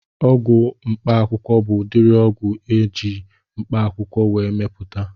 Ọgwụ mkpaakwụkwọ bụ udiri ọgwụ eji eji mkpaakwụkwọ wee mepụta